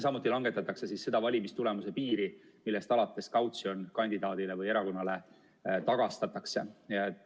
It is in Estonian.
Samuti langetatakse seda valimistulemuse piiri, millest alates kautsjon kandidaadile või erakonnale tagastatakse.